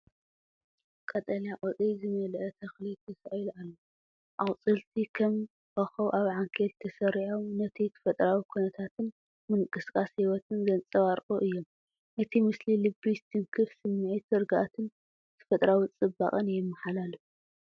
ቀጠልያ ቆጽሊ ዝመልአ ተኽሊ ተሳኢሉ ኣሎ። ኣቝጽልቲ ከም ኮኾብ ኣብ ዓንኬል ተሰሪዖም፡ ነቲ ተፈጥሮኣዊ ኵነታትን ምንቅስቓስ ህይወትን ዘንጸባርቑ እዮም። እቲ ምስሊ ልቢ ዝትንክፍ ስምዒት ርግኣትን ተፈጥሮኣዊ ጽባቐን የመሓላልፍ።